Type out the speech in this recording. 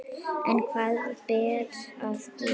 En hvað ber að gera?